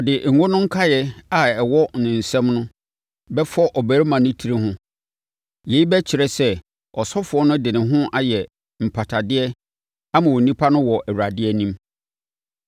Ɔde ngo no nkaeɛ a ɛwɔ ne nsam no bɛfɔ ɔbarima no tiri ho. Yei bɛkyerɛ sɛ, ɔsɔfoɔ no de ne ho ayɛ mpatadeɛ ama onipa no wɔ Awurade anim.